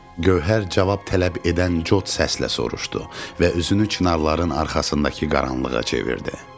Gövhər cavab tələb edən cot səslə soruşdu və üzünü çınarların arxasındakı qaranlığa çevirdi.